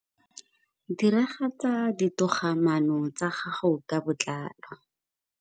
Diragatsa ditogamaano tsa gago ka botlalo.